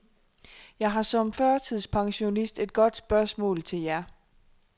Jeg har som førtidspensionist et godt spørgsmål til jer.